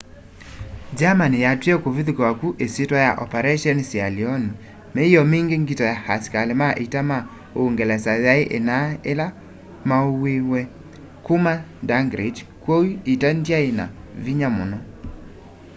germany yatwie kũvithũkĩwa kyu isyitwa ya operation sealion”. míio mingi ngito ya asikali ma ita ma úúngelesa yai inaa ila maumiw'e kuma dunkirk kwoou ita ndyai na vinya muno